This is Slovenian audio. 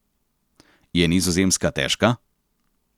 Je Nizozemska težka?